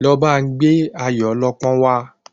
Lọ ba n gbé Ayọ̀ ọlọ́pọ́n wa